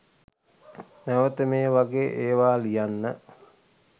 නැවත මේ වගේ ඒවා ලියන්න